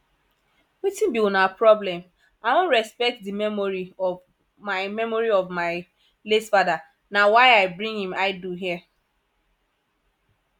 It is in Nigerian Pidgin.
wetin be una problem i wan respect the memory of my memory of my late father na why i bring im idol here